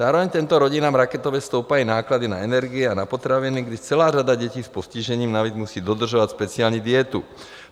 Zároveň těmto rodinám raketově stoupají náklady na energie a na potraviny, kdy celá řada dětí s postižením navíc musí dodržovat speciální dietu.